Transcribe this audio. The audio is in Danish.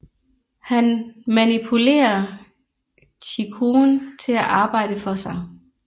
Han manipulerer Chikurun til at arbejde for sig